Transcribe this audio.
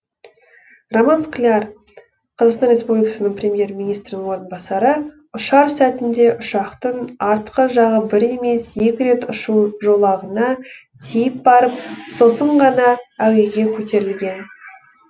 роман скляр қазақстан республикасы премьер министрінің орынбасары ұшар сәтінде ұшақтың артқы жағы бір емес екі рет ұшу жолағына тиіп барып сосын ғана әуеге көтерілген